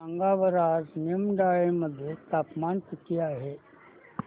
सांगा बरं आज निमडाळे मध्ये तापमान किती आहे